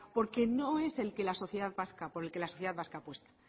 porque no es por el que la sociedad vasca apuesta